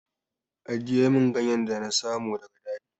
Ajiye min ganyen nan da na samu daga daji!